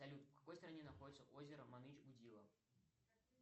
салют в какой стране находится озеро маныч гудило